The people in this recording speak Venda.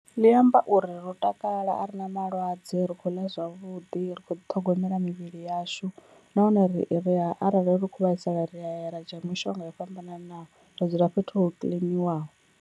Ḽi amba uri ro takala a ri na malwadze ri kho ḽa zwavhuḓi ri kho ḓi ṱhogomela mivhili yashu nahone ri a arali ri kho vhaisala ri aya ra dzhia mishonga yo fhambananaho ra dzula fhethu ho kiḽiniwaho.